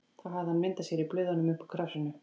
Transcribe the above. Þá hafði hann mynd af sér í blöðunum upp úr krafsinu.